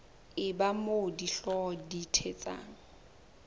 eba moo dihlooho di thetsang